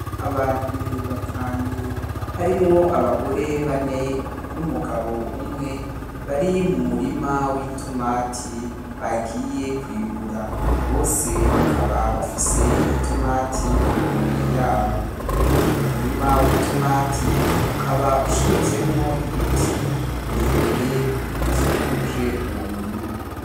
Abantu batanu harimwo abagore bane n'umugabo umwe bari mu murima w'itomati bagiye kwimbura, bose bakaba bafise itomati mu minwe yabo. Uyo murima w'itomati ukaba ushinzemwo ibiti birebire bikikuje uwo murima.